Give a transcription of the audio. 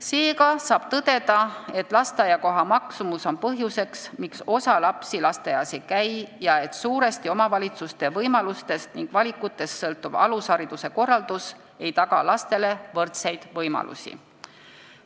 Seega saab tõdeda, et lasteaiakoha eest nõutav raha on põhjus, miks osa lapsi lasteaias ei käi, ja et suuresti omavalitsuste võimalustest ning valikutest sõltuv alushariduse korraldus ei taga lastele võrdseid võimalusi.